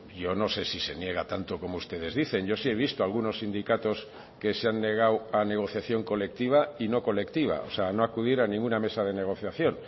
yo no sé si se niega tanto como ustedes dicen yo sí he visto algunos sindicatos que se han negado a negociación colectiva y no colectiva o sea no acudir a ninguna mesa de negociación